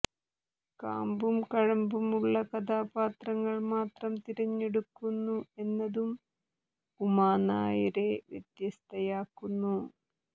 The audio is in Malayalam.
കാമ്പും കഴമ്പുമുള്ള കഥാപാത്രങ്ങൾ മാത്രം തിരഞ്ഞെടുക്കുന്നു എന്നതും ഉമാനായരെ വ്യത്യസ്തയാക്കുന്നു